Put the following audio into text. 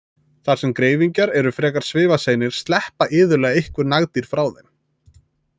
Þar sem greifingjar eru frekar svifaseinir sleppa iðulega einhver nagdýr frá þeim.